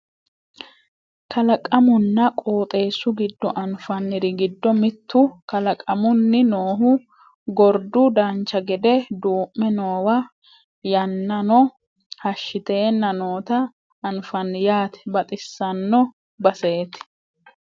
kalqamunna qoxeessu giddo anfanniri giddo mittu kalaqamunni noohu gordu dancha gede duu'me noowa yannano hashshiteenna noota anfanni yaate baxissanno baseeti